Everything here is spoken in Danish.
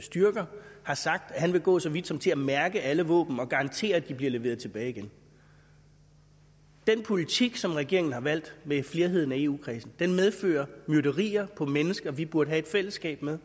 styrker har sagt at han vil gå så vidt som til at mærke alle våben og garantere at de bliver leveret tilbage igen den politik som regeringen har valgt med flerheden af eu kredsen medfører myrderier på mennesker vi burde have et fællesskab med